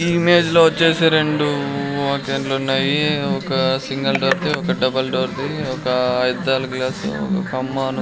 ఈ ఇమేజ్ లో వచ్చేసి రెండు ఉన్నాయి ఒక సింగిల్ డోర్ ది ఒక డబల్ డోర్ ది ఒక అద్దాలు గ్లాసు ఒక కమ్మాను --